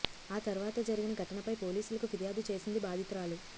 ఆ తర్వాత జరిగిన ఘటనపై పోలీసులకు ఫిర్యాదు చేసింది బాధితురాలు